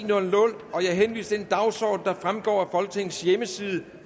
jeg henviser til den dagsorden der fremgår af folketingets hjemmeside